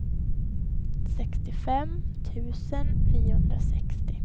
sextiofem tusen niohundrasextio